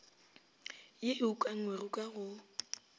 ye e ukangwego ka go